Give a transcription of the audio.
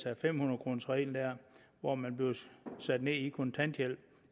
er fem hundrede kroners reglen hvor man bliver sat ned i kontanthjælp